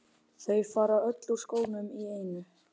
Þau fara öll úr skónum í einu.